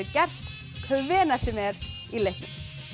gerst hvenær sem er í leiknum